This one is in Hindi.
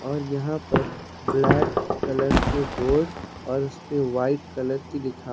और यहां पर ब्लैक कलर के बोर्ड और उसपे वाइट कलर की लिखा--